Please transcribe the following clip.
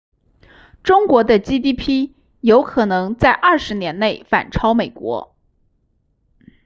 中国的 gdp 有可能在20年内反超美国